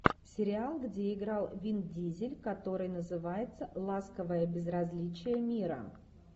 сериал где играл вин дизель который называется ласковое безразличие мира